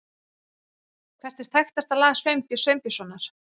Hvert er þekktasta lag Sveinbjörns Sveinbjörnssonar?